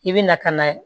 I bɛ na ka na